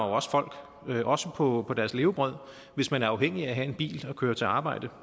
også folk også på deres levebrød hvis man er afhængig af at have en bil at køre til arbejde